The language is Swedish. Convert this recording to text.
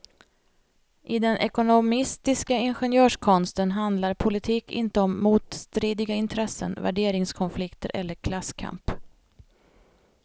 I den ekonomistiska ingenjörskonsten handlar politik inte om motstridiga intressen, värderingskonflikter eller klasskamp.